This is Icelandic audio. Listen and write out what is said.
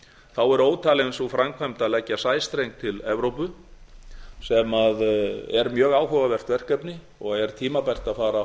þá er ótalin sú framkvæmd að leggja sæstreng til evrópu sem er mjög áhugavert verkefni og er tímabært að far að